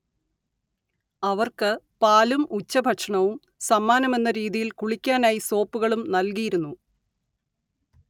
അവർക്ക് പാലും ഉച്ചഭക്ഷണവും സമ്മാനമെന്ന രീതിയിൽ കുളിക്കാനായി സോപ്പുകളും നൽകിയിരുന്നു